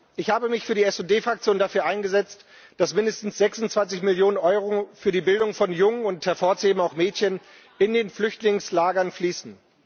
Ich habe mich für die SD Fraktion dafür eingesetzt, dass mindestens 26 Millionen Euro für die Bildung von Jungen und hervorzuheben auch Mädchen in den Flüchtlingslagern fließen.